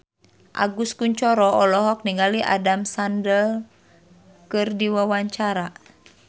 Agus Kuncoro olohok ningali Adam Sandler keur diwawancara